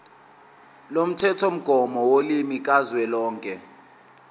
lomthethomgomo wolimi kazwelonke